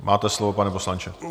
Máte slovo, pane poslanče.